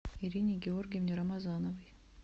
ирине георгиевне рамазановой